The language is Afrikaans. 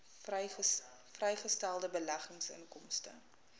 vrygestelde beleggingsinkomste